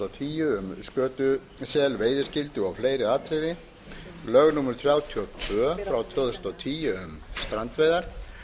og tíu um skötusel veiðiskyldu og fleiri atriði lög númer þrjátíu og tvö tvö þúsund og tíu um strandveiðar